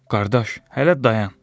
Qardaş, hələ dayan.